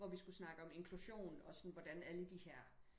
hvor vi skulle snakke om inklusion og sådan hvordan alle de her